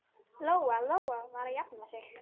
Lóa-Lóa var að jafna sig.